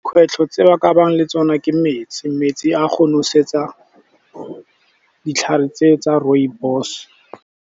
Kgwetlho tse ba ka bang le tsona ke metsi, metsi a go nosetsa ditlhare tse tsa rooibos.